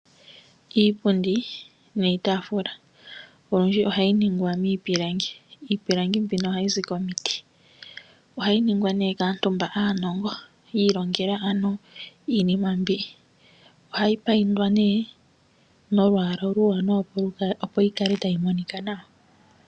Iipundi niitaafula olundji ohayi ningwa miipilangi. Iipilangi mbino ohayi zi komiti . Ohayi ningwa kaantu iilongela iinima mbyoka . Ohayi mbambekwa nolwaala oluwanawa opo yikale tayi monika nawa.